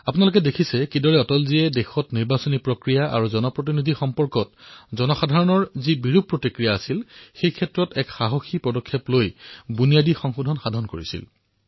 আপোনালোকে দেখিলে কিদৰে অটলজীয়ে দেশত নিৰ্বাচনেই হওক আৰু জনপ্ৰতিনিধি সম্বন্ধীয় যি বিকাৰ সৃষ্টি হৈছিল তাত সাহসিক পদক্ষেপ গ্ৰহণ কৰি বুনিয়াদী সংশোধন কৰিলে